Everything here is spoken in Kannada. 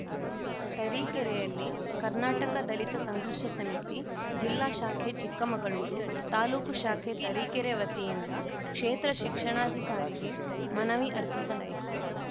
ತರೀಕೆರೆಯಲ್ಲಿ ಕರ್ನಾಟಕ ದಲಿತ ಸಂಘರ್ಷ ಸಮಿತಿ ಜಿಲ್ಲಾ ಶಾಖೆ ಚಿಕ್ಕಮಗಳೂರು ತಾಲೂಕು ಶಾಖೆ ತರೀಕೆರೆ ವತಿಯಿಂದ ಕ್ಷೇತ್ರ ಶಿಕ್ಷಣಾಧಿಕಾರಿಗೆ ಮನವಿ ಅರ್ಪಿಸಲಾಯಿತು